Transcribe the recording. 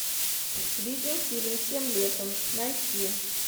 видеофильм тем летом найти